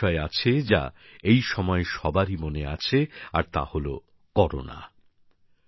আরো একটি বিষয় আছে যা এই সময় সবারই মনে আছে আর তা হলো করোনা